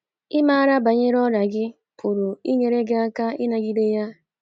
Ịmara banyere ọrịa gị pụrụ inyere gị aka ịnagide ya